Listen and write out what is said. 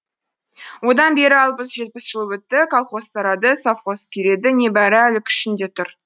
одан бері алпыс жетпіс жыл өтті колхоз тарады совхоз күйреді небәрі әлі күшінде тұр